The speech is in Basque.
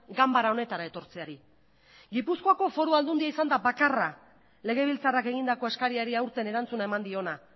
ganbara honetara etortzeari gipuzkoako foru aldundia izan da bakarra legebiltzarrak egindako eskariari aurten erantzuna eman diona